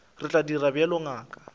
re tla dira bjalo ngaka